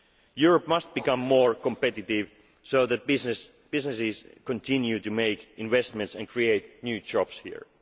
competition. Europe must become more competitive so that businesses continue to make new investments and create